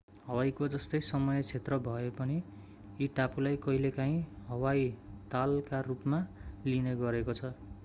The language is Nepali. हवाईको जस्तै समय क्षेत्र भए पनि यी टापुलाई कहिलेकाहिँ हवाई तल”का रूपमा लिइने गरेको छ।